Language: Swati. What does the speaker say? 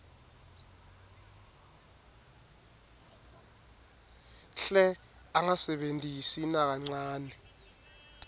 hle angasebentisi nakancane